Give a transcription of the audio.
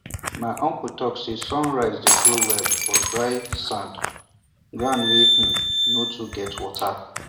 my uncle talk say sun rice dey grow well for dry sand ground wey um no too get water